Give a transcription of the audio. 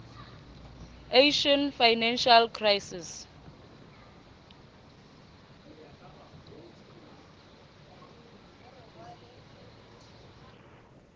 asian financial crisis